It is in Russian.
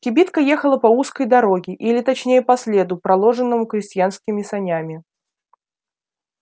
кибитка ехала по узкой дороге или точнее по следу проложенному крестьянскими санями